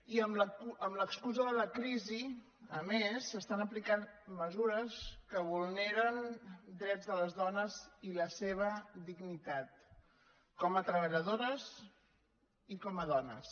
i amb l’excusa de la crisi a més s’estan aplicant mesures que vulneren drets de les dones i la seva dignitat com a treballadores i com a dones